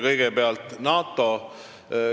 Kõigepealt NATO.